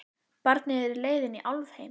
Barnið er á leið inn í álfheima.